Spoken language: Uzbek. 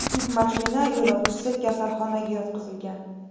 Yuk mashina yo‘lovchisi kasalxonaga yotqizilgan.